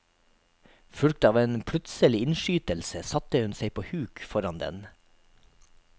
Fulgt av en plutselig innskytelse satte han seg på huk foran den.